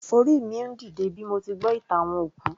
Orí mi ń dìde bí mo ti gbọ́ ìtàn àwọn òkú